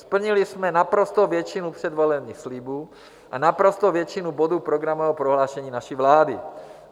Splnili jsme naprostou většinu předvolebních slibů a naprostou většinu bodů programového prohlášení naší vlády.